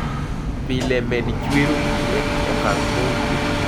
Pile, med chwero pi e okang' mowinjore